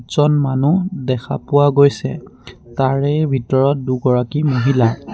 জন মানুহ দেখা পোৱা গৈছে তাৰে ভিতৰত দুগৰাকী মহিলা।